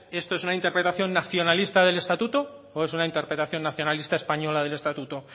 esto es una interpretación nacionalista del estatuto o es una interpretación nacionalista española del estatuto